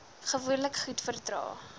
gewoonlik goed verdra